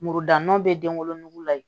Muru dan nɔ bɛ denwolonugu la yen